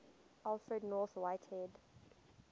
alfred north whitehead